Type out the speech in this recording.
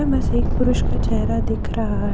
इनमें से एक पुरुष का चेहरा दिख रहा है।